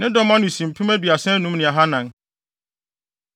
Ne dɔm ano si mpem aduasa anum ne ahannan (35,400).